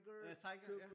Ja Tiger ja